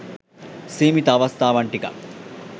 සීමිත අවස්ථාවන් ටිකක්.